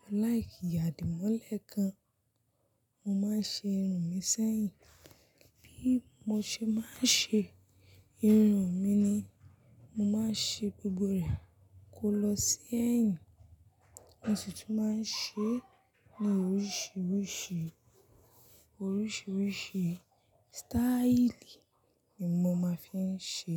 Mo láìkí àdìmọ́lẹ̀ gan, mo máa ń ṣe irun mi sẹ́yìn. Bí mo ṣe máa ń ṣe irun mi ni, mo máa ń ṣe gbogbo rẹ̀ kó lọ sí ẹ̀yìn. Mo sì tún máa ń ṣe ní oríṣiríṣi, oríṣiríṣi sítáílì ni mo máa fi ń ṣe.